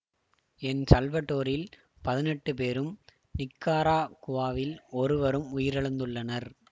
L சல்வடோரில் பதினெட்டு பேரும் நிக்கராகுவாவில் ஒருவரும் உயிரிழந்துள்ளனர்